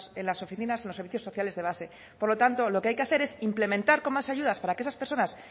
en las oficinas en los servicios sociales de base por lo tanto lo que hay que hacer es implementar con más ayudas para que esas personas